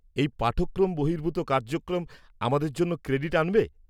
-এই পাঠক্রম বহির্ভূত কার্যক্রম আমাদের জন্য ক্রেডিট আনবে?